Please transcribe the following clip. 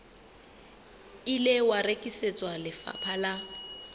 ile wa rekisetswa lefapha la